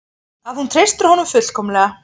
Að hún treystir honum fullkomlega.